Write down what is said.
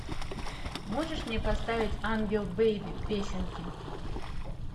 можешь мне поставить ангел бейби песенки